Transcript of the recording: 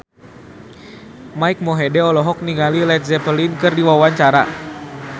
Mike Mohede olohok ningali Led Zeppelin keur diwawancara